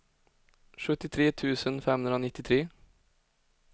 sjuttiotre tusen femhundranittiotre